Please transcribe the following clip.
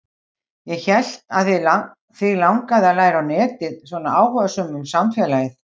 Ég hélt að þig langaði að læra á netið, svona áhugasöm um samfélagið.